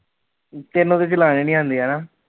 ਤੇਨੂੰ ਤੇ ਚਲਾਣੀ ਨੀ ਆਂਦੀ ਹਨਾ